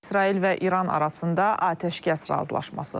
İsrail və İran arasında atəşkəs razılaşması.